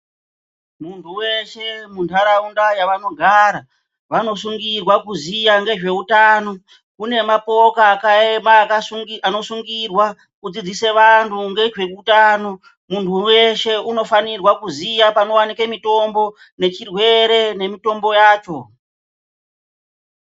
Muntu weshe mundaraunda yavanogara vanosungirwa kuziya ngezveutano kune mapoka akaema anosungirwa kudzidzise vantu ngezveutano muntu weshe unofanirwa kuziya panowanike mutombo nechirwere nemitombo yacho.